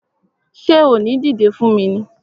Ṣé o ò ní dìdé fún mi ni!